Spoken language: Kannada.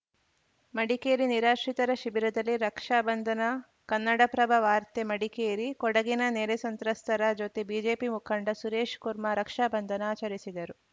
ಮಡಿಕೇರಿ ನಿರಾಶ್ರಿತರ ಶಿಬಿರದಲ್ಲಿ ರಕ್ಷಾ ಬಂಧನ ಕನ್ನಡಪ್ರಭ ವಾರ್ತೆ ಮಡಿಕೇರಿ ಕೊಡಗಿನ ನೆರೆ ಸಂತ್ರಸ್ತರ ಜೊತೆ ಬಿಜೆಪಿ ಮುಖಂಡ ಸುರೇಶ್‌ ಕುರ್ಮಾ ರಕ್ಷಾ ಬಂಧನ ಆಚರಿಸಿದರು